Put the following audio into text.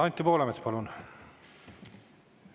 Anti Poolamets, palun!